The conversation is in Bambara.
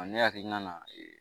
Ne hakilina na